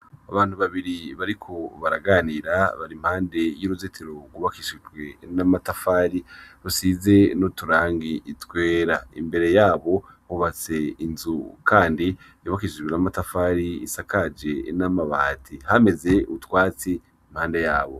Abantu babiri bariko baraganira bari impande y'uruzitiro rwubakishijwe n'amatafari rusize n'uturangi twera. Imbere yabo hubatse inzu kandi yubakishijwe n'amatafari isakaje n'amabati. Hameze utwatsi impande yabo.